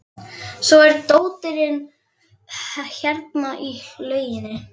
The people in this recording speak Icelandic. Svo er dóttirin hérna í lauginni.